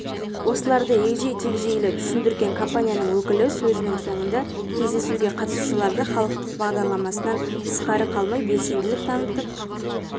осыларды егжей-тегжейлі түсіндірген компанияның өкілі сөзінің соңында кездесуге қатысушыларды халықтық бағдарламасынан тысқары қалмай белсенділік танытып